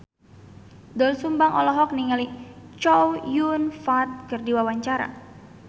Doel Sumbang olohok ningali Chow Yun Fat keur diwawancara